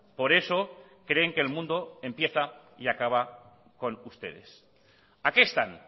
por eso creen que el mundo empieza y acaba con ustedes a qué están